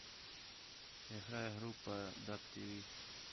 играй группа даб тиви